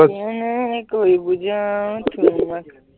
কেনেকৈ বুজাও তোমাক